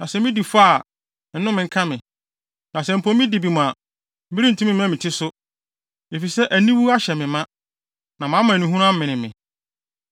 Na sɛ midi fɔ a, nnome nka me! Na sɛ mpo midi bem a, merentumi mma me ti so, efisɛ aniwu ahyɛ me ma na mʼamanehunu amene me.